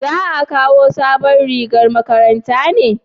za a kawo sabon rigar makaranta ne?